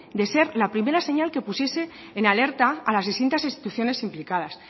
de ser la primera señal que pusiese en alerta a las distintas instituciones implicadas